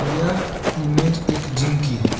यह इमेज एक जिम की है।